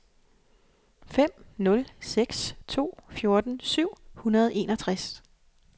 fem nul seks to fjorten syv hundrede og enogtres